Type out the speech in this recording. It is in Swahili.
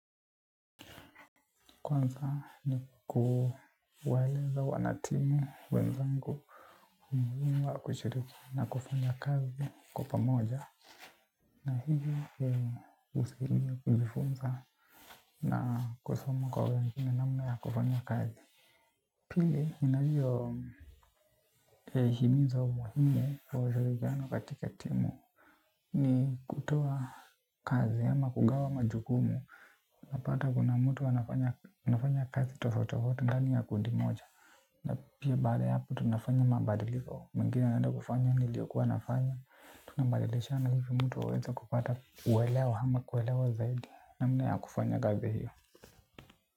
Kwanza ni kuwaeleza wanatimu wenzangu, umuhimu wa kushiriki na kufanya kazi kwa pamoja. Na hivyo vyema husikiliza kujifunza na kusoma kwa wengine namna ya kufanya kazi. Pili nina hiyo himizo muhimu wa ushirikiano katika timu ni kutoa kazi ama kugawa majukumu. Napata kuna mtu anafanya kazi tofauti tofauti ndani ya kundi moja. Na pia baada ya hapo tunafanya mabadiliko mwingine anaenda kufanya niliyokuwa nafanya. Tunabadilishana hivi mtu aweze kupata uwelewa ama kuelewa zaidi namna ya kufanya kazi hiyo.